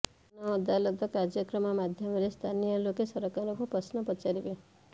ଜନ ଅଦାଲତ କାର୍ଯ୍ୟକ୍ରମ ମାଧ୍ୟମରେ ସ୍ଥାନୀୟ ଲୋକେ ସରକାରଙ୍କୁ ପ୍ରଶ୍ନ ପଚାରିବେ